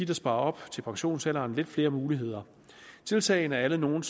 der sparer op til pensionsalderen lidt flere muligheder tiltagene er alle nogle